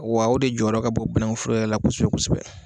Wa o de jɔyɔrɔ ka bon banangun foro yɛrɛ la kosɛbɛ kosɛbɛ.